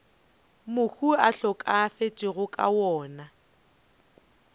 mohu a hlokafetšego ka yona